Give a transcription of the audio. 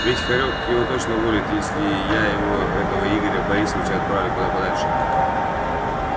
ведь хорёк его точно уволит если я его этого игоря борисовича отправлю куда подальше